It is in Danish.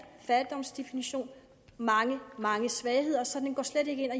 fattigdomsdefinition mange mange svagheder så den går slet ikke ind og